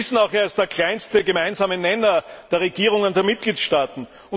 Wir wissen auch, er ist der kleinste gemeinsame Nenner der Regierungen der Mitgliedstaaten.